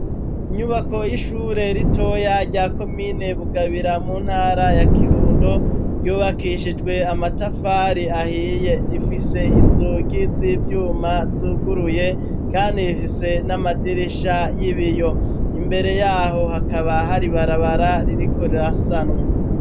Inyubako y'ishure ritoya, rya komine Bugabira, mu ntara ya kirundo, ryubakishijwe amatafari ahiye; rifise inzugi z'ivyuma, zuguruye, kandi rifise n'amadirisha y'ibiyo; imbere y'aho, hakaba hari ibarabara ririko rirasanwa.